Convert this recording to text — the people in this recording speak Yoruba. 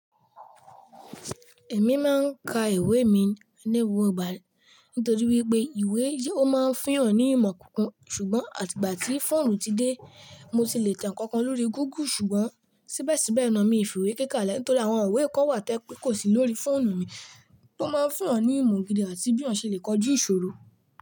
Èmi máa ń ka ìwé mi léwu ọgbà nítorí wípé ìwé yóò máa ń fiyàn ní ìmọ̀ kúnkún. Ṣùgbọ́n àtìgbà tí fóònù ti dé, mo sì le tẹ nkankan lórí Google. Ṣùgbọ́n síbẹ̀síbẹ̀ náà mi ò fi ìwé kíkà kalẹ̀ nítorí àwọn ìwé kan wà tó jẹ́ pé kò sí lórí fóònù mi tó máa ń fún'yàn ní ìmọ̀ gidi àti bí èèyàn ṣe le kọjú ìṣòro.